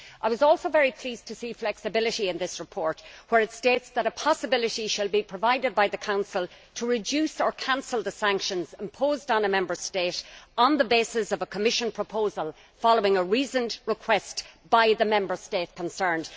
I was also very pleased to see flexibility in this report, where it states that a possibility will be provided by the Council to reduce or cancel the sanctions imposed on a Member State on the basis of a Commission proposal following a reasoned request by the Member State concerned.